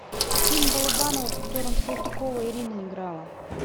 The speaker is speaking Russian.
фильм балабанова в котором салтыкова ирина играла